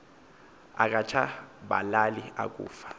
akatsha balali akufa